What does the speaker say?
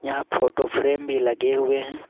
यहां photo frame भी लगे हुए हैं।